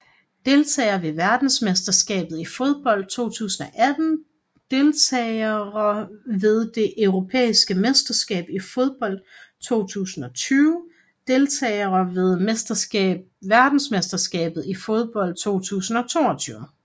Deltagere ved verdensmesterskabet i fodbold 2018 Deltagere ved det europæiske mesterskab i fodbold 2020 Deltagere ved verdensmesterskabet i fodbold 2022